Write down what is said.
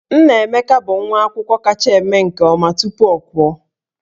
Nnaemeka bụ nwa akwụkwọ kacha eme nke ọma tupu ọ pụọ